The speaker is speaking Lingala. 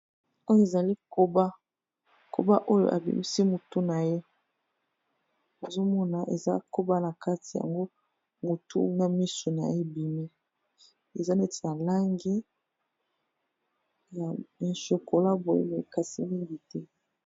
Oyo ezali koba, koba oyo abimisi motu na ye nazo mona eza koba na kati yango motu na misu na ye ebimi. Eza neti na langi ya chocolat boye mais kasi mingi te.